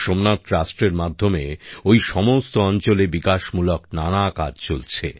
সোমনাথ ট্রাস্টের মাধ্যমে ওই সমস্ত অঞ্চলে উন্নয়নমূলক নানা কাজ চলছে